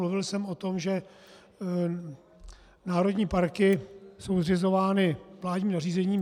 Mluvil jsem o tom, že národní parky jsou zřizovány vládním nařízením.